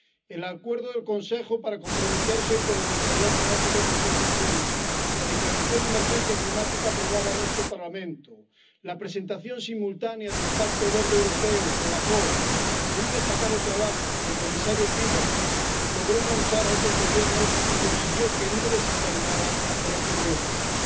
El acuerdo del Consejo para comprometerse con la neutralidad climática en 2050, la declaración de emergencia climática aprobada en este Parlamento, la presentación simultánea del Pacto Verde Europeo con la COP, con un destacado trabajo del comisario Timmermans, lograron enganchar a otros Gobiernos y conseguir que no descarrilara el Acuerdo de París.